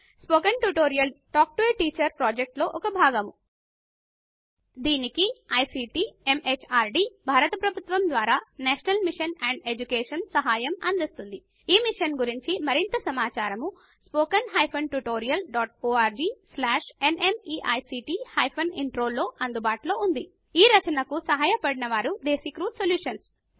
spoken tutorial talk to a teacher project లో భాగము దీనికి ఐసీటీ ఎంహార్డీ భారత ప్రభుత్వము ద్వారా నేషనల్ మిషన్ ఆన్ ఎడ్యుకేషన్ సహాయం అందిస్తోంది ఈ మిషన్ గురించి మరింత సమాచారము స్పోకెన్ tutorialorgన్మీక్ట్ Intro వద్ద అందుబాటులో ఉన్నది ఈ రచనకు సహాయపడినవారు డెసిక్ర్యూ సొల్యూషన్స్